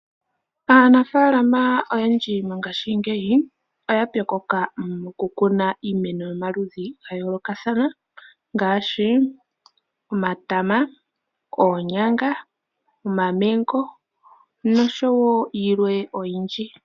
Aanafalama oyendji mongaashingeyi oya pyokoka mokukuna iimeno yomaludhi gayoolokathana. Ngaashi; omatama, oonyanga, omamengo, noshowo yilwe oyindji.